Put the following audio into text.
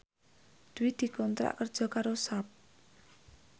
Dwi dikontrak kerja karo Sharp